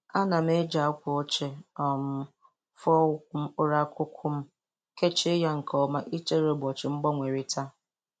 Ana m eji akw.ochie um fụọ ukwu mkụrụ akụkụ m, kechie y nke oma ichere ụbọchị.mgbanerịta.